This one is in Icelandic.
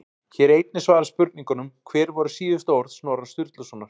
Hér er einnig svarað spurningunum: Hver voru síðustu orð Snorra Sturlusonar?